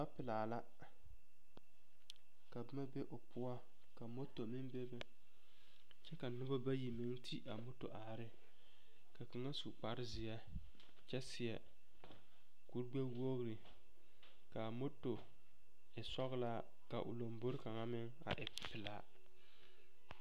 Lɔpelaa la ka boma be o poɔ ka moto meŋ bebe kyɛ ka noba bayi meŋ ti a moto are ne ka kaŋa su kpare zeɛ kyɛ seɛ kuri gbɛ-wogiri k'a moto e sɔgelaa ka o lombori kaŋa meŋ a e pelaa.